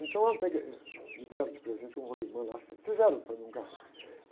Então, eu peguei, me deram de presente um rolimã lá, fi, fizeram para mim um carrinho.